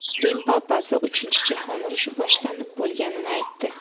Rim papasi Uchinchi jahon urushi boshlanib bo‘lganini aytdi.